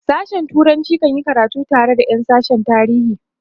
sashen turanci kan yi karatu tare da Yan sashen tarihi